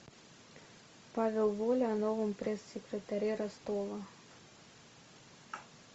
павел воля о новом пресс секретаре ростова